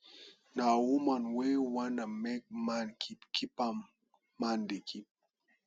na woman wey wanna make man keep keep am man dey keep